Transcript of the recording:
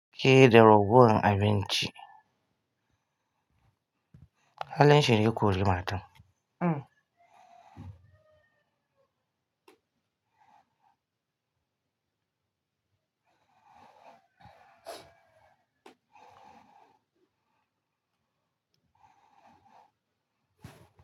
Kiyi da ragowan abinci. Halin shi ne ya kori matan. Uhm.